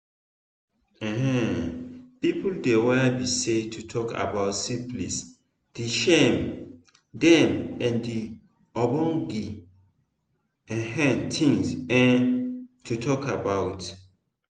um people dey were be say to talk about syphilis the shame them and na ogbonge um things um to talk about